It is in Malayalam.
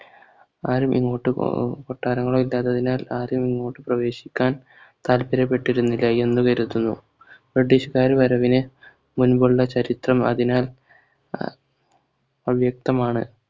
ആരും ഇങ്ങോട്ട് അഹ് കൊട്ടാരങ്ങളോ ഇല്ലാത്തതിനാൽ ആരും ഇങ്ങോട്ട് പ്രവേശിക്കാൻ താല്പര്യപ്പെട്ടിരുന്നില്ല എന്ന് കരുതുന്നു british കാർ വരവിനെ മുൻപുള്ള ചരിത്രം അതിനാൽ അഹ് അവ്യക്തമാണ്